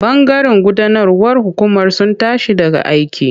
Bangaren gudanarwar hukumar sun tashi daga aiki.